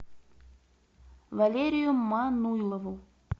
валерию мануйлову